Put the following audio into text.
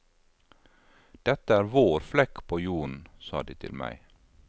Dette er vår flekk på jorden, sa de til meg.